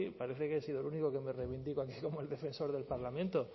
parece que he sido el único que me reivindico aquí como el defensor del parlamento